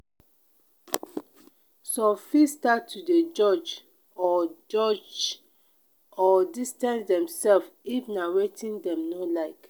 some fit start to de judge or judge or distance themselves if na wetin dem no like